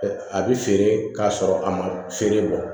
A bɛ feere k'a sɔrɔ a ma feere bɔ